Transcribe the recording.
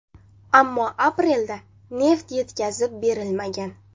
Ammo aprelda neft yetkazib berilmagan.